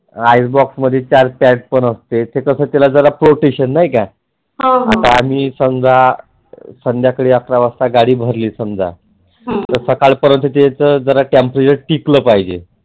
Ice box मध्ये चार tank पण असते ते कस त्याला protection नाही का आता आम्ही समजा संध्याकाळी अकरा गाडी भरली समजा तर सकाळ पर्यंत त्याचे जरा temperature टिकल पाहिजे.